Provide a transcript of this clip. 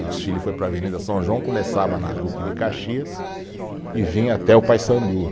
O desfile foi para a Avenida São João, começava na Duque de Caxias e vinha até o Paissandu.